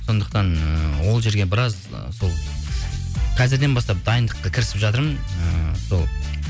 сондықтан ыыы ол жерге біраз сол қазірден бастап дайындыққа кірісіп жатырмын ыыы сол